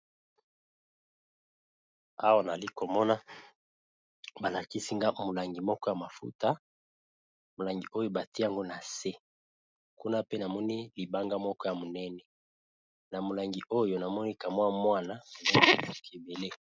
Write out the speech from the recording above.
Awa nali komona ba lakisi nga molangi moko ya mafuta, molangi oyo batie yango na se kuna pe namoni libanga moko ya monene na molangi oyo namoni kamwa mwana ya kebele.